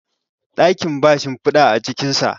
dakin ba shimfida a cikinsa